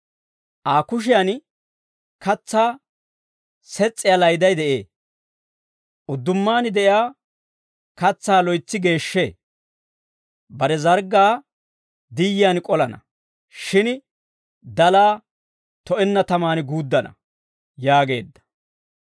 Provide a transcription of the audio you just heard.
Aa kushiyan katsaa ses's'iyaa layday de'ee. Uddumaan de'iyaa katsaa loytsi geeshshee; bare zarggaa diyiyaan k'olana; shin dalaa to'enna tamaan guuddana» yaageedda.